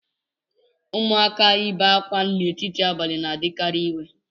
Ụmụaka ị be ákwá n'etiti abalị na-adịkarị iwe